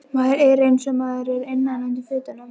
Maður er einsog maður er innan undir fötunum.